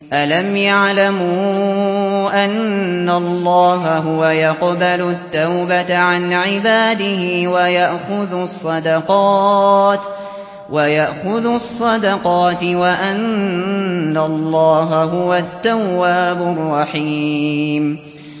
أَلَمْ يَعْلَمُوا أَنَّ اللَّهَ هُوَ يَقْبَلُ التَّوْبَةَ عَنْ عِبَادِهِ وَيَأْخُذُ الصَّدَقَاتِ وَأَنَّ اللَّهَ هُوَ التَّوَّابُ الرَّحِيمُ